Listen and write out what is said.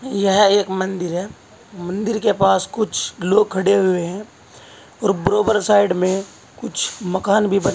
यह एक मंदिर है मंदिर के पास कुछ लोग खड़े हुए हैं और बराबर साइड में कुछ मकान भी बने--